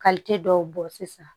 dɔw bɔ sisan